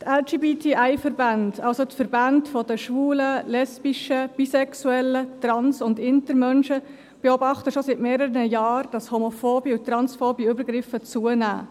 Die LGBTI-Verbände, also die Verbände der Schwulen, Lesben, Bisexuellen, Trans- und Intermenschen beobachten schon seit mehreren Jahren, das homophobe und transphobe Übergriffe zunehmen.